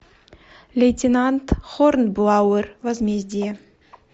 лейтенант хорнблауэр возмездие